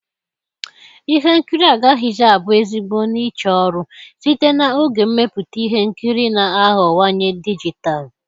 Ihe nkiri agaghịzi abụ ezigbo niche ọrụ, site na oge mmepụta ihe nkiri na-aghọwanye dijitalụ.